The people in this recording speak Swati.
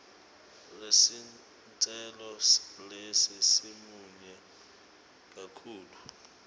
lesitselo lesi simunyu kakhulu